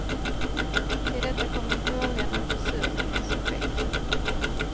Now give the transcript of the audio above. Till detta kommer frågan om försurningens effekter.